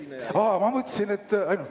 Aa, ma mõtlesin, et ...